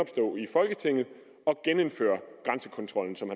folketinget at genindføre grænsekontrollen som